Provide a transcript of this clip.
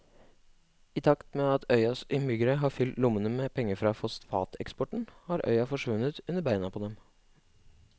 I takt med at øyas innbyggere har fylt lommene med penger fra fosfateksporten har øya forsvunnet under beina på dem.